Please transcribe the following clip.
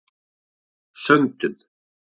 Söndum